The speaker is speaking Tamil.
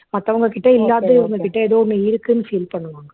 மத்தவங்ககிட்ட இல்லாதது இவங்ககிட்ட ஏதோ ஒண்ணு இருக்குன்னு feel பண்ணுவாங்க